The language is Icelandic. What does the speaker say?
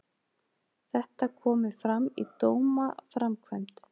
Þetta komi fram í dómaframkvæmd